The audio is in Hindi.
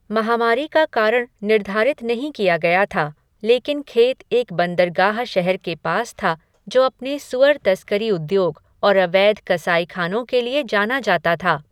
महामारी का कारण निर्धारित नहीं किया गया था, लेकिन खेत एक बंदरगाह शहर के पास था जो अपने सुअर तस्करी उद्योग और अवैध कसाईखानों के लिए जाना जाता था।